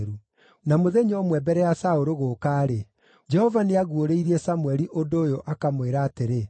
Na mũthenya ũmwe mbere ya Saũlũ gũũka-rĩ, Jehova nĩaguũrĩirie Samũeli ũndũ ũyũ akamwĩra atĩrĩ,